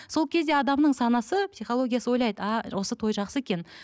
сол кезде адамның санасы психологиясы ойлайды а осы той жақсы екен